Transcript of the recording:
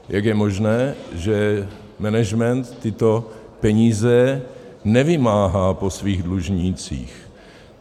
Jak je možné, že management tyto peníze nevymáhá po svých dlužnících.